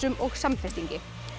og samfestingi